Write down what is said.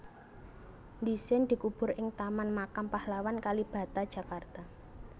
Dhisin dikubur ing Taman Makam Pahlawan Kalibata Jakarta